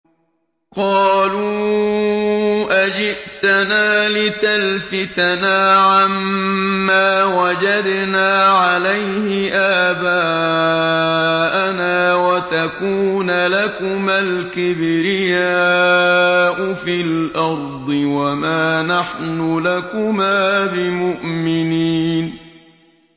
قَالُوا أَجِئْتَنَا لِتَلْفِتَنَا عَمَّا وَجَدْنَا عَلَيْهِ آبَاءَنَا وَتَكُونَ لَكُمَا الْكِبْرِيَاءُ فِي الْأَرْضِ وَمَا نَحْنُ لَكُمَا بِمُؤْمِنِينَ